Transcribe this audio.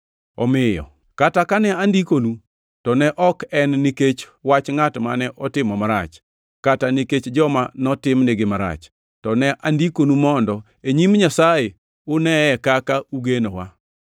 Omiyo kata kane andikonu, to ne ok en nikech wach ngʼat mane otimo marach, kata nikech joma notimnigi marach, to ne andikonu mondo, e nyim Nyasaye, uneye kaka ugenowa.